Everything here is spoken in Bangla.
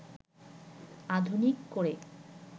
আধুনিক করে